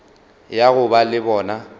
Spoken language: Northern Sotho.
ya go ba le bona